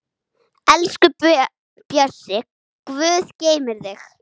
Elsku Bjössi, Guð geymi þig.